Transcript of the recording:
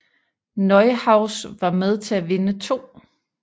Neuhaus var med til at vinde 2